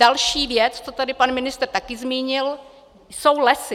Další věc, to tady pan ministr také zmínil, jsou lesy.